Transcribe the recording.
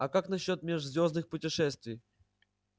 а как насчёт межзвёздных путешествий